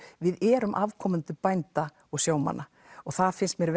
við erum afkomendur bænda og sjómanna og það finnst mér